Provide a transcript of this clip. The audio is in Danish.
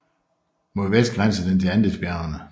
Mod vest grænser den til Andesbjergene